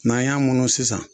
N'an y'a munun sisan